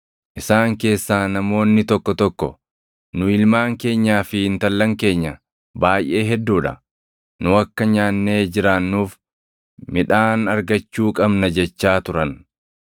Isaan keessaa namoonni tokko tokko, “Nu, ilmaan keenyaa fi intallan keenya baayʼee hedduu dha; nu akka nyaannee jiraannuuf midhaan argachuu qabna” jechaa turan.